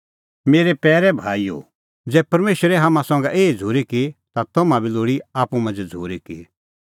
मेरै पैरै भाईओ ज़ै परमेशरै हाम्हां संघै एही झ़ूरी की ता हाम्हां बी लोल़ी आप्पू मांझ़ै झ़ूरी की